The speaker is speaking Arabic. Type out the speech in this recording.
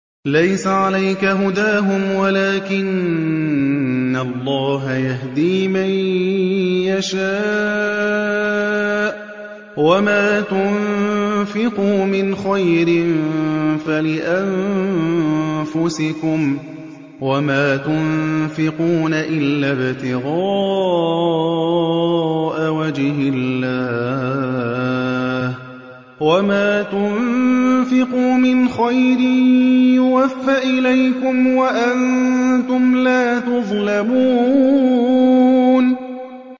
۞ لَّيْسَ عَلَيْكَ هُدَاهُمْ وَلَٰكِنَّ اللَّهَ يَهْدِي مَن يَشَاءُ ۗ وَمَا تُنفِقُوا مِنْ خَيْرٍ فَلِأَنفُسِكُمْ ۚ وَمَا تُنفِقُونَ إِلَّا ابْتِغَاءَ وَجْهِ اللَّهِ ۚ وَمَا تُنفِقُوا مِنْ خَيْرٍ يُوَفَّ إِلَيْكُمْ وَأَنتُمْ لَا تُظْلَمُونَ